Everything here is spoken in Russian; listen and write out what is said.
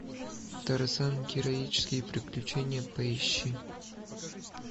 тарзан героические приключения поищи